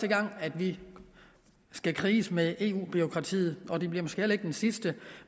gang at vi skal kriges med eu bureaukratiet og det bliver måske heller ikke den sidste